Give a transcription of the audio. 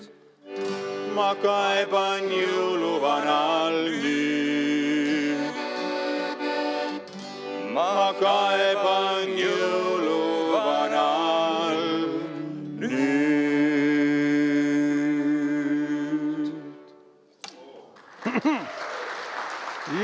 Ma kaeban jõuluvanal' nüüd, ma kaeban jõuluvanal' nüüd.